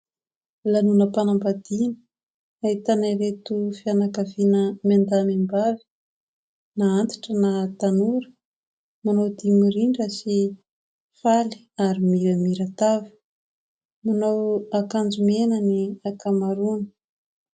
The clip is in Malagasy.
Lanonam-panambadiana, ahitana ireto fianakaviana miandahy miambavy, na antitra na tanora manao dihy mirindra sy faly ary miramiran-tava. Manao akanjo mena ny ankamaroany.